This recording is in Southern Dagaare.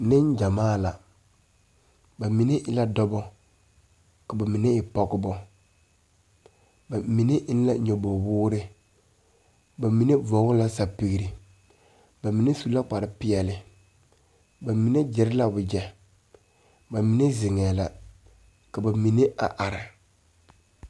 Neŋgyamaa la ba mine e la dɔbɔ ka ba mine e pɔgebɔ ba mine eŋ la nyoboge woore ba mine vɔgle la sɛpigre ba mine su la kparepeɛle ba mine gyire la wogyɛ ba mine zeŋɛɛ la ka ba mine a are.